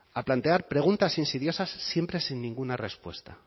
a plantear preguntas insidiosas siempre sin ninguna respuesta